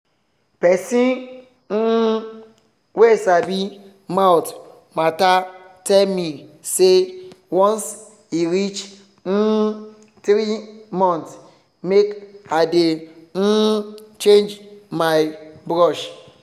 pesin um wey sabi mouth matter tell me say once e reach um three month make i dey um change my brush